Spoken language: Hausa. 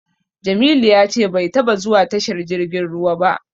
Jamilu ya ce bai taba zuwa tashar jirgin ruwa ba.